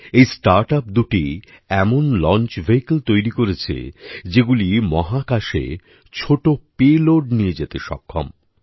এই startup দুটি এমন লঞ্চ ভেহিকল তৈরী করছে যেগুলি মহাকাশে ছোটো পেলোড নিয়ে যেতে সক্ষম